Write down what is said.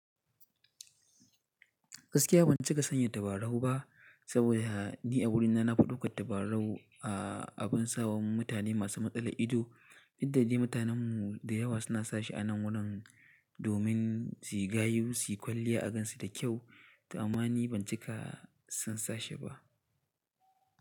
Gaskiya ban cika san yi tabarau ba, saboda ni a wurina na fi ɗauka tabarau a abin sawa mutane masu matsala ido, inda dai mutanenmu da yawa suna sashi a nan wannan domin suyi gayu suyi kwalliya a kansu da kyau. Amma ni ban cika son sashi ba.